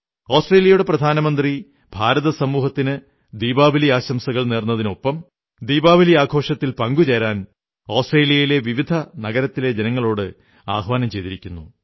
ആസ്ട്രേലിയയുടെ പ്രധാനമന്ത്രി ഭാരത സമൂഹത്തിന് ദീപാവലി ആശംസകൾ നേർന്നതിനൊപ്പം ദീപാവലി ആഘോഷത്തിൽ പങ്കുചേരാൻ ആസ്ട്രേലിയയിലെ വിവിധ നഗരങ്ങളിലെ ജനങ്ങളോട് ആഹ്വാനം ചെയ്തിരിക്കുന്നു